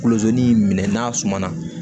Kolosennin n'a sumana